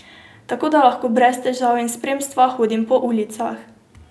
Tako da lahko brez težav in spremstva hodim po ulicah.